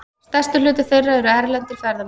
Stærstur hluti þeirra eru erlendir ferðamenn.